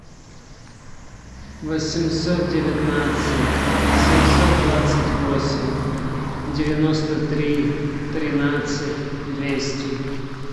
восемьсот девятнадцать семьсот двадцать восемь девяносто три тринадцать двести